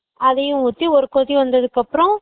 அதையும் ஊத்தி ஒரு கொதி வந்தத்துக்கு அப்பறோ